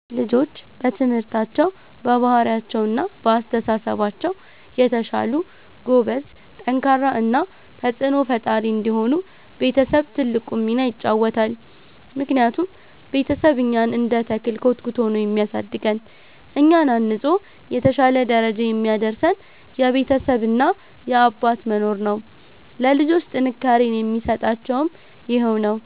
ልጆች በትምህርታቸው፣ በባህሪያቸው እና በአስተሳሰባቸው የተሻሉ፣ ጎበዝ፣ ጠንካራ እና ተጽዕኖ ፈጣሪ እንዲሆኑ ቤተሰብ ትልቁን ሚና ይጫወታል። ምክንያቱም ቤተሰብ እኛን እንደ ተክል ኮትኩቶ ነው የሚያሳድገን፤ እኛን አንጾ የተሻለ ደረጃ የሚያደርሰን የቤተሰብ እና የአባት መኖር ነው። ለልጆች ጥንካሬን የሚሰጣቸውም ይሄው ነው።